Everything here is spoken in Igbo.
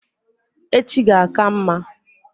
Echi ga-aka mma